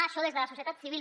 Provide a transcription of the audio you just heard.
això des de la societat civil